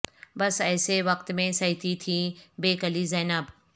بس ایسے وقت میں سہتی تھیں بے کلی زینب